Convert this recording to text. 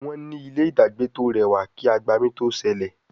Wón ní ilé dagbe to rẹwà kí agbami to sẹlẹ